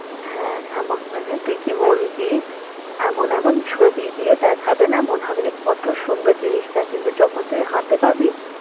হ্যাঁ এম~ মানে তুই কি বললি? এমন এমন ছবি দিয়ে দেখাবে না মনে হবে যে কত সুন্দর জিনিসটা কিন্তু যখন তুই হাতে পাবি